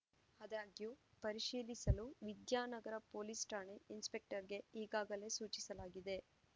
ಆದಾಗ್ಯೂ ಪರಿಶೀಲಿಸಲು ವಿದ್ಯಾನಗರ ಪೊಲೀಸ್‌ ಠಾಣೆ ಇನ್ಸ್‌ಪೆಕ್ಟರ್‌ಗೆ ಈಗಾಗಲೇ ಸೂಚಿಸಲಾಗಿದೆ